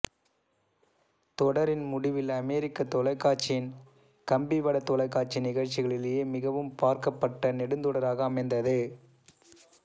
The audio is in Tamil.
தொடரின் முடிவில் அமெரிக்கத் தொலைக்காட்சியின் கம்பிவடத் தொலைக்காட்சி நிகழ்ச்சிகளிலேயே மிகவும் பார்க்கப்பட்ட நெடுந்தொடராக அமைந்தது